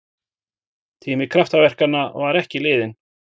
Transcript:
Tími kraftaverkanna var ekki liðinn!